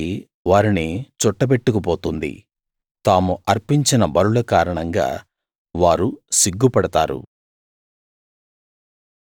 సుడిగాలి వారిని చుట్టబెట్టుకు పోతుంది తాము అర్పించిన బలుల కారణంగా వారు సిగ్గుపడతారు